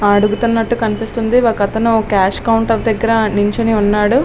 దిగుతున్నట్లు అనిపిస్తుంది. ఒక అతను క్యాష్ కౌంటర్ దగ్గర నించుని ఉన్నాడు.